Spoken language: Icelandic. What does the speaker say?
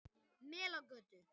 Melagötu